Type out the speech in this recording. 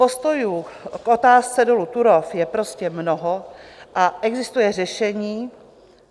Postojů k otázce dolu Turów je prostě mnoho a existuje řešení...